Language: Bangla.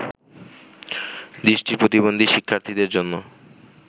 দৃষ্টি প্রতিবন্ধী শিক্ষার্থীদের জন্য